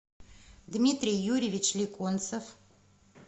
дмитрий юрьевич леконцев